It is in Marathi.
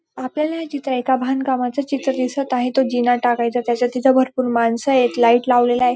आपल्याला हे चित्र एका बांधकामाच चित्र दिसत आहे तो जीना टाकायचा त्याच्यात तिथं भरपूर माणसं आहेत. लाईट लावलेला आहे.